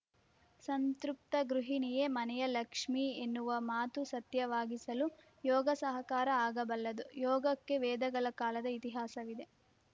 ಸಂತೃಪ್ತ ಗೃಣಿಯೇ ಮನೆಯ ಲಕ್ಷ್ಮೇ ಎನ್ನುವ ಮಾತು ಸತ್ಯವಾಗಿಸಲು ಯೋಗ ಸಹಕಾರಿ ಆಗಬಲ್ಲದು ಯೋಗಕ್ಕೆ ವೇದಗಳ ಕಾಲದ ಇತಿಹಾಸವಿದೆ